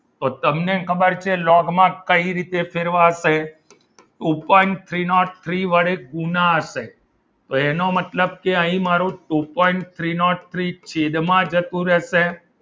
તો તમને ખબર છે લોગમાં કઈ રીતે ફેરવાશે ઉપર થ્રી નોટ થ્રી વડે ગુણાશે તો એનો મતલબ કે અહીં મારું two point three nought three છેદમાં જતું રહેશે.